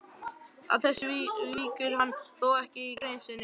Að þessu víkur hann þó ekki í grein sinni.